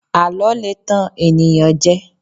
àlọ le tan ènìyàn jẹ